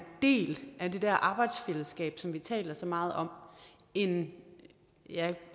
del af det der arbejdsfællesskab som vi taler så meget om end